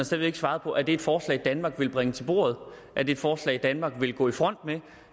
slet ikke svarede på er det et forslag danmark vil bringe til bordet et forslag danmark vil gå i front med